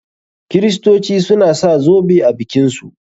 Kiristoci suna sa zoɓe a bikin su.